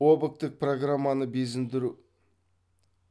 объктік программаны безіндіру